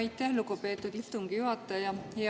Aitäh, lugupeetud istungi juhataja!